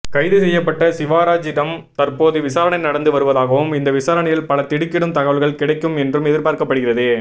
கைது செய்யப்பட்ட சிவராஜிடம் தற்போது விசாரணை நடந்து வருவதாகவும் இந்த விசாரணையில் பல திடுக்கிடும் தகவல்கள் கிடைக்கும் என்றும் எதிர்பார்க்கப்படுகிறது